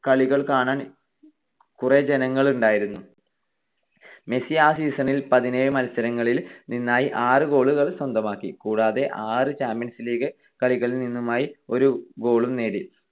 കളികൾ കാണാൻ കുറെ ജനങ്ങൾ ഉണ്ടായിരുന്നു. മെസ്സി ആ season ൽ പതിനേഴ് മത്സരങ്ങളിൽ നിന്നായി ആറ് goal കൾ സ്വന്തമാക്കി. കൂടാതെ ആറ് ചാമ്പ്യൻസ് ലീഗ് കളികളിൽ നിന്നുമായി ഒരു goal ഉം നേടി.